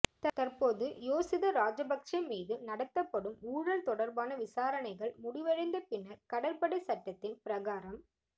தற்போது யோசித ராஜபக்ஸ மீது நடாத்தப்படும் ஊழல் தொடர்பான விசாரணைகள் முடிவடைந்த பின்னர் கடற்படை சட்டத்தின் பிரகாரம்